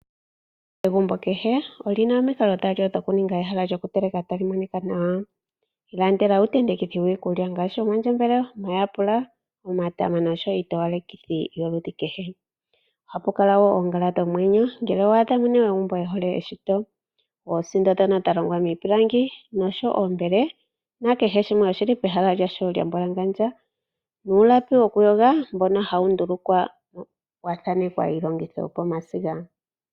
Egumbo kehe olina omikalo dhokuninga ehala lyokuteleka tali monika nawa, ilandela uuntentekithi wikulya ngaashi omandjembele, omayapula, omatama noshowo iitowalekithi yoludhi kehe. Ohapu kala woo oongala dhomwenyo ngele owadha ooyene yegumbo yehole eshito. Oosindo dhoka dha longwa miipilangi oshowo oombele nakehe shimwe shili pehala lyasho lyambwalangandja, nuulapi wokuyoga mbono hawu ndulukwa wathaanekwa iilongitho yopomasiga.